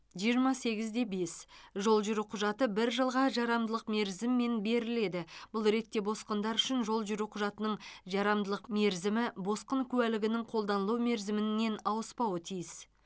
жиырма сегіз де бес жол жүру құжаты бір жылға жарамдылық мерзіммен беріледі бұл ретте босқындар үшін жол жүру құжатының жарамдылық мерзімі босқын куәлігінің қолданылу мерзімінен аспауы тиіс